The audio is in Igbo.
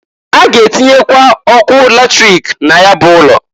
A ga-atinyekwa ọkụ latrik na ya bụ ụlọ.